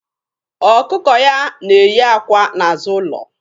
Ọkụkọ ya na-eyí àkwá n'azụ ụlọ.